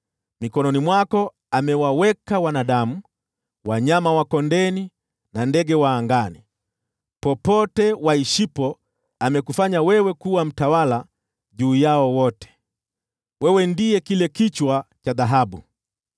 Mikononi mwako amewaweka wanadamu, wanyama wa kondeni, na ndege wa angani. Popote waishipo amekufanya wewe kuwa mtawala juu yao wote. Wewe ndiye kile kichwa cha dhahabu.